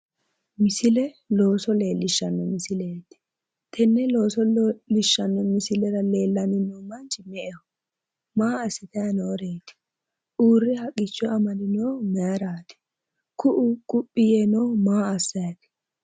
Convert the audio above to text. misile looso leellishshano misileeti. tenne looso leellishshani no misilera leellani noo manchi me''eho?, maa assitanni nooreeti ?,uurre haqqicho amadinohu mayiiraati ?,ku'u quphi yee noohu maa assanni no?